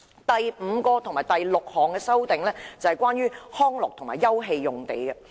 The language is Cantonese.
第五及六項修正都是關於康樂及休憩用地的。